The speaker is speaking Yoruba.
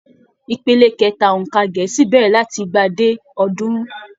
Ìpele kẹta óńka gẹẹsi bẹrẹ láti igba dé ọdunrun.